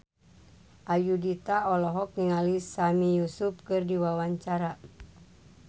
Ayudhita olohok ningali Sami Yusuf keur diwawancara